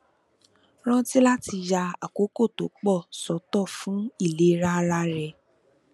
rántí láti ya àkókò tó pò sótò fún ìlera ara rẹ